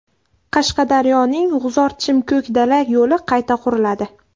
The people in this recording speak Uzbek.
Qashqadaryoning G‘uzorChimKo‘kdala yo‘li qayta quriladi.